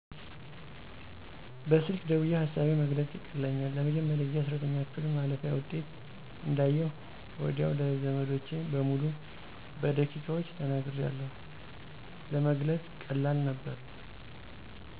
በስልክ ደውየ ሀሳቤን መግለፅ ይቀለኛል። ለመጀመሪያ ጊዜ 12ኛ ክፍል ማለፊያ ውጤት እንዳየሁ ወዲያው ለዘመዶቸ በሙሉ በደቂቃዎች ተናግሪያለሁ። ለመግለፅ ቀላል ነበር።